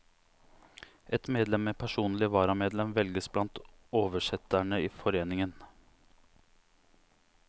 Ett medlem med personlig varamedlem velges blant oversetterne i foreningen.